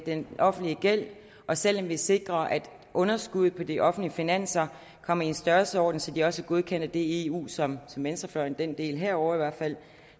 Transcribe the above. den offentlige gæld og selv om vi sikrer at underskuddet på de offentlige finanser kommer i en størrelsesorden så de også godkender det i det eu som venstrefløjen den del herovre i hvert fald